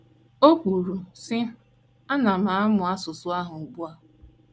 O kwuru, sị: Ana m amụ asụsụ ahụ ugbu a.